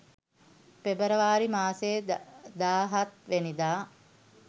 පෙබරවාරි මාසේ දාහත් වැනිදා.